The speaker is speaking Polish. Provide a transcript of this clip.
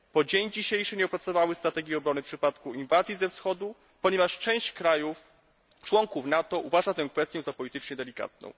Po dzień dzisiejszy nie opracowały strategii obrony w przypadku inwazji ze wschodu, ponieważ część krajów, członków NATO, uważa tę kwestię za politycznie delikatną.